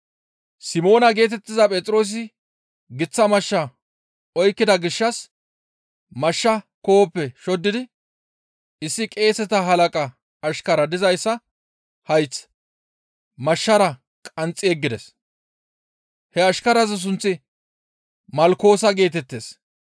Simoona geetettiza Phexroosi giththa mashsha oykkida gishshas mashshaa koohoppe shoddidi issi qeeseta halaqa ashkara dizayssa hayth mashshara qanxxi yeggides; he ashkaraza sunththi, «Malkoosa» geetettees.